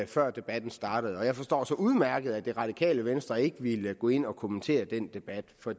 før debatten startede og jeg forstår så udmærket at det radikale venstre ikke ville gå ind og kommentere den debat for